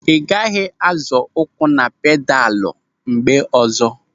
Ị gaghị azọ ụkwụ na pedalu mgbe ọzọ.